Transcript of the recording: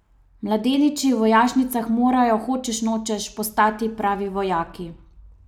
Mladeniči v vojašnicah morajo, hočeš nočeš, postati pravi vojaki.